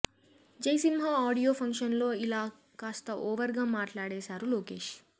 Jai Simha audio function లో ఇలా కాస్త ఓవర్ గా మాట్లాడేశారు లోకేష్